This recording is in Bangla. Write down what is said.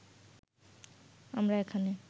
আমরা এখানে